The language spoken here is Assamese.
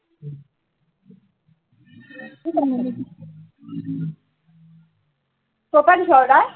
কৰপৰা দিছ order